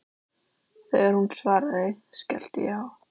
Þegar hún svaraði, skellti ég á.